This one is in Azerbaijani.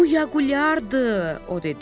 Bu Yaqulyardır, o dedi.